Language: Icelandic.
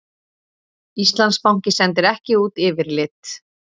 Íslandsbanki sendir ekki út yfirlit